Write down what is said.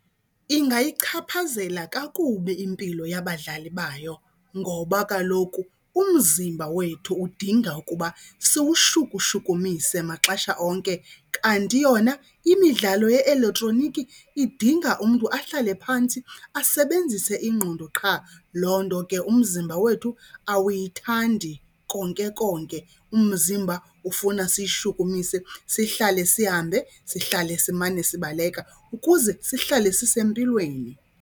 Ingayichaphazela kakubi impilo yabadlali bayo ngoba kaloku umzimba wethu udinga ukuba siwushukushukumise maxesha onke, kanti yona imidlalo ye-elektroniki idinga umntu ahlale phantsi asebenzise ingqondo qha. Loo nto ke umzimba wethu awuyithandi konke konke. Umzimba ufuna siyishukumise sihlale sihambe, sihlale simane sibaleka ukuze sihlale sisempilweni.